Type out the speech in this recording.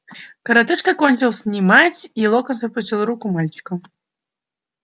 коротышка кончил снимать и локонс отпустил руку мальчика